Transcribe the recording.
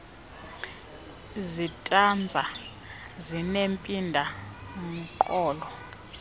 zitanza zinempinda mqolo